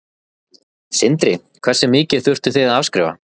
Sindri: Hversu mikið þurftuð þið að afskrifa?